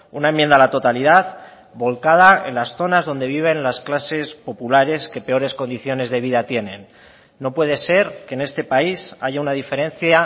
una enmienda a la totalidad volcada en las zonas donde viven las clases populares que peores condiciones de vida tienen no puede ser que en este país haya una diferencia